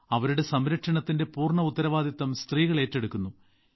അവരുടെ സംരക്ഷണത്തിന്റെ പൂർണ ഉത്തരവാദിത്തവും സ്ത്രീകൾ ഏറ്റെടുക്കുന്നു